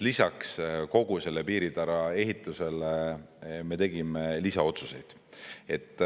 Lisaks kogu selle piiritara ehitusele me tegime lisaotsuseid.